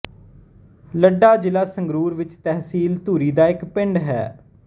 ਲੱਡਾ ਜ਼ਿਲ੍ਹਾ ਸੰਗਰੂਰ ਵਿੱਚ ਤਹਿਸੀਲ ਧੂਰੀ ਦਾ ਇੱਕ ਪਿੰਡ ਹੈ